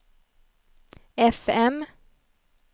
fm